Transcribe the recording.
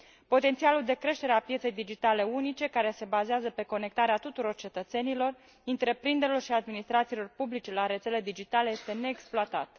Potențialul de creștere a pieței digitale unice, care se bazează pe conectarea tuturor cetățenilor, întreprinderilor și administrațiilor publice la rețele digitale, este neexploatat.